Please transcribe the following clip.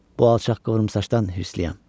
Bu alçaq qıvrımsaçdan hirsliyəm.